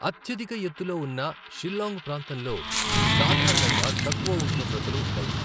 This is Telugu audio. అత్యధిక ఎత్తులో ఉన్న షిల్లాంగ్ ప్రాంతంలో సాధారణంగా తక్కువ ఉష్ణోగ్రతలు ఉంటాయి.